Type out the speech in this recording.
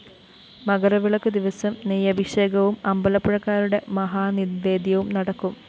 മകരവിളക്കു ദിവസം നെയ്യഭിഷേകവും അമ്പലപ്പുഴക്കാരുടെ മഹാനിവേദ്യവും നടക്കും